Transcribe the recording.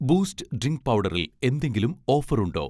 Boost drink പൗഡറിൽ എന്തെങ്കിലും offer ഉണ്ടോ?